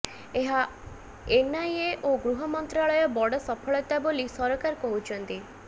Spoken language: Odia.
ଏହା ଏନ୍ଆଇଏ ଓ ଗୃହ ମନ୍ତ୍ରାଳୟ ବଡ଼ ସଫଳତା ବୋଲି ସରକାର କହୁଛନ୍ତି